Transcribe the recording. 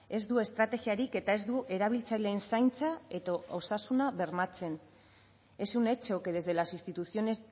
ez du estrategiarik eta ez du erabiltzaileen zaintza eta osasuna bermatzen es un hecho que desde las instituciones